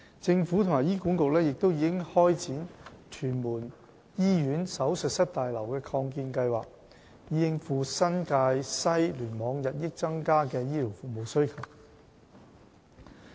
政府和醫管局亦已開展屯門醫院手術室大樓的擴建計劃，以應付新界西聯網日益增加的醫療服務需求。